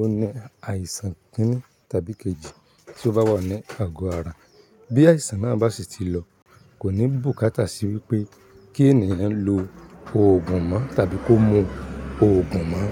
ó ní àìsàn kìn-ni tàbí kejì tí ó bá wà ní àgọ́ ara. Bí àìsàn náà bá sì ti lọ, kò ní bùkátà sí wípé kí ènìyàn lo òògùn mọ́ tàbí kó mu òògùn mọ́